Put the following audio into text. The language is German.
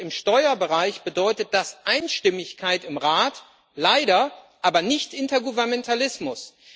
Und im Steuerbereich bedeutet das Einstimmigkeit im Rat, leider aber nicht Intergovernmentalismus.